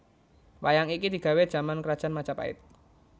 Wayang iki digawè jaman krajaan Majapait